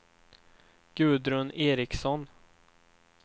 Gudrun Eriksson